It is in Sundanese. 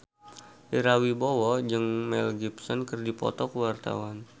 Ira Wibowo jeung Mel Gibson keur dipoto ku wartawan